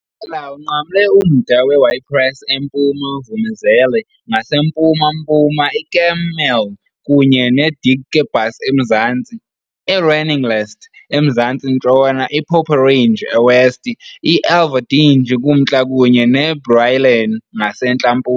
Umasipala unqamle umda we-Ypres eMpuma, iVoormezele ngasempuma-mpuma, iKemmel kunye neDikkebus eMzantsi, i-Reningelst eMzantsi-ntshona, i-Poperinge eWest, i-Elverdinge kumntla kunye neBrielen ngasentla-mpuma.